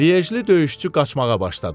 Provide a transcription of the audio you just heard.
Lyejli döyüşçü qaçmağa başladı.